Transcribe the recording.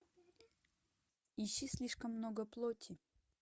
ищи слишком много плоти